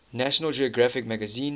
national geographic magazine